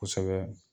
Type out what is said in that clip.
Kosɛbɛ